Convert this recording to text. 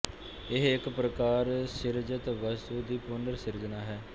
ਇਹ ਇੱਕ ਪ੍ਰਕਾਰ ਸਿਰਜਿਤ ਵਸਤੂ ਦੀ ਪੁਨਰ ਸਿਰਜਨਾ ਹੈ